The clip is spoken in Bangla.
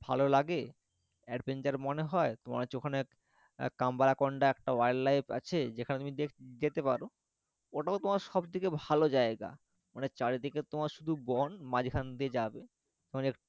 ভালো লাগে adventure মনে হয় তোমার হচ্ছে ওখানে কাম্বা কন্দা একটা wild life আছে যেখানে তুমি যেতে পারো ওটাও তোমার সব থেকে ভালো জায়গা মানে চারিদিকে তোমার শুধু বন মাঝখান দিয়ে যাবে,